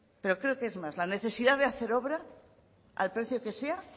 pero creo que es más la necesidad de hacer obra al precio que sea